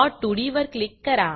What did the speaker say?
plot2D वर click करा